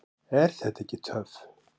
Er þetta ekki töff?